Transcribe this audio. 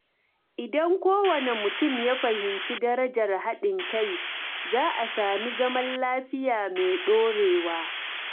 Idan kowane mutum ya fahimci darajar haɗin kai, za a sami zaman lafiya mai ɗorewa.